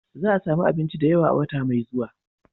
Za a sami abinci da yawa a wata mai zuwa.